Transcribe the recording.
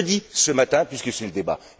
Je le dis ce matin puisque c'est le débat.